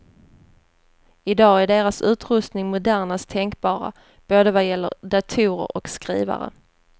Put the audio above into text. I dag är deras utrustning modernast tänkbara, både vad gäller datorer och skrivare.